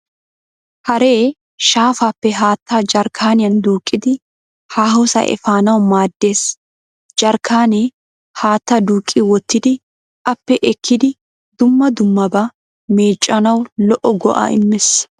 Haree shaafaappe haatta jarkkaaniyan duuqqidi haahosaa efanawu maaddes. Jarkkaanee haatta duuqqi wottidi aappe ekkidi dumma dummabaa meeccanawu lo'o go'aa immees.